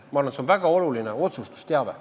Ma arvan, et see on väga oluline otsustusteave.